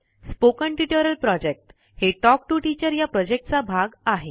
spoken tutorial project हे talk to teacher या प्रॉजेक्टचा भाग आहे